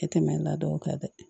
E tɛmɛnen ladon o kan dɛ